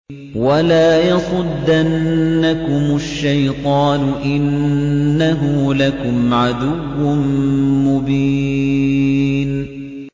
وَلَا يَصُدَّنَّكُمُ الشَّيْطَانُ ۖ إِنَّهُ لَكُمْ عَدُوٌّ مُّبِينٌ